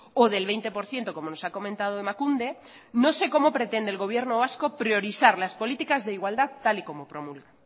o del veinte por ciento como nos ha comentado emakunde no sé cómo pretende el gobierno vasco priorizar las políticas de igualdad tal y como promulga